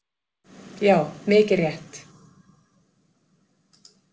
Já, mikið rétt.